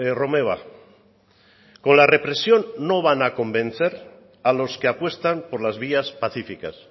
romeva con la represión no van a convencer a los que apuestan por las vías pacíficas